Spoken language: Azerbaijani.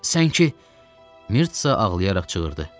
Sən ki, Mirtsa ağlayaraq çığırdı.